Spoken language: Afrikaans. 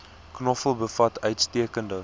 knoffel bevat uitstekende